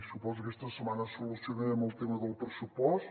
suposo que aquesta setmana solucionarem el tema del pressupost